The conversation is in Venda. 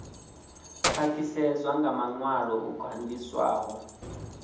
khwaṱhisedzwa nga maṅwalo o gandiswaho